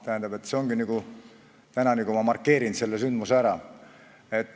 Tähendab, täna ma markeerin selle sündmuse ära.